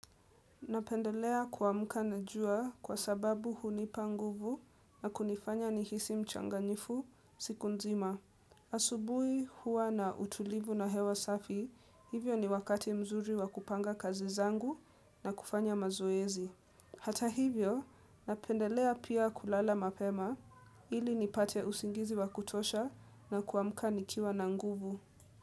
Napendelea kuamka na jua kwa sababu hunipa nguvu na kunifanya nihisi mchangamfu siku nzima. Asubui hua na utulivu na hewa safi, hivyo ni wakati mzuri wa kupanga kazi zangu na kufanya mazoezi. Hata hivyo, napendelea pia kulala mapema ili nipate usingizi wa kutosha na kuamka nikiwa na nguvu.